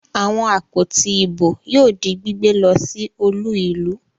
Àwọn àpótí ìbò yóò di gbígbé lọ sí olú-ìlú.